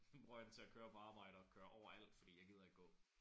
Bruger jeg den til at køre på arbejde og køre over alt fordi jeg gider ikke gå